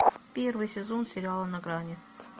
первый сезон сериала на грани